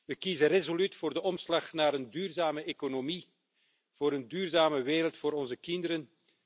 We kiezen resoluut voor de omslag naar een duurzame economie en een duurzame wereld voor onze kinderen.